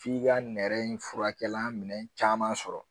F'i ka nɛrɛ in furakɛlan minɛn caman sɔrɔ.